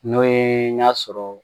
N'o ye y'a sɔrɔ